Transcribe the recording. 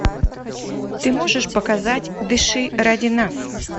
ты можешь показать дыши ради нас